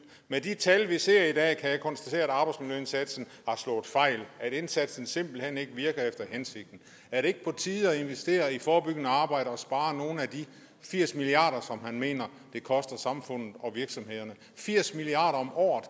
med de tal vi ser i dag kan jeg konstatere at arbejdsmiljøindsatsen har slået fejl at indsatsen simpelt hen ikke virker efter hensigten er det ikke på tide at investere i forebyggende arbejde og spare nogle af de firs milliarder som man mener det koster samfundet og virksomhederne firs milliarder om året